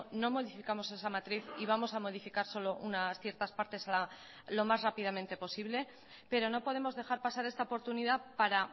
no modificamos esa matriz y vamos a modificar solo unas ciertas partes lo más rápidamente posible pero no podemos dejar pasar esta oportunidad para